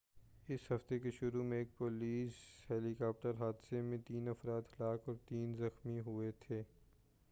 اس ہفتے کے شروع میں ایک پولیس ہیلی کاپٹر حادثے میں تین افراد ہلاک اور تین زخمی ہُوئے تھے